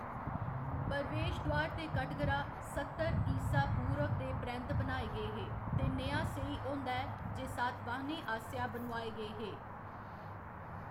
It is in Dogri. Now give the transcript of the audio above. प्रवेशद्वार ते कटघरा सत्तर ईसा पूर्व दे परैंत्त बनाए गे हे, ते नेहा सेही होंदा ऐ जे सातवाहनें आसेआ बनोआए गे हे।